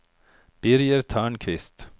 Birger Törnqvist